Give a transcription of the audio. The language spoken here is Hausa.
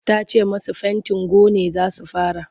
Ta ce masu fentin gone za su fara.